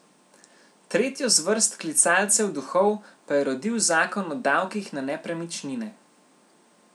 Tretjo zvrst klicalcev duhov pa je rodil zakon o davkih na nepremičnine.